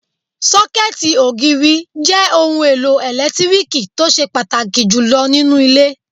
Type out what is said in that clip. Sọ́kẹ̀tì ògiri jẹ́ ohun èlò ẹlẹtíríkì tó ṣe pàtàkì jù lọ nínú ilé